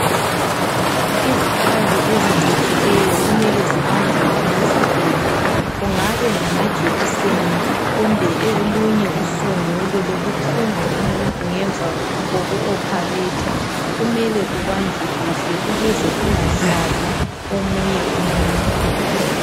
Izikhathi ezicijileyo kumele zibanjwe ngonanzelelo. Kungabe ngamajekiseni kumbe usungulo olokuthunga umuntu ngemva koku opharethwa. kumele kubanjwe kuhle ukuze kungahlabi omunye umuntu.